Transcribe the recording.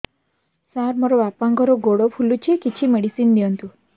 ସାର ମୋର ବାପାଙ୍କର ଗୋଡ ଫୁଲୁଛି କିଛି ମେଡିସିନ ଦିଅନ୍ତୁ